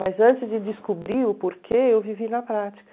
Mas antes de descobrir o porquê, eu vivi na prática.